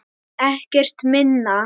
Ekkert minna.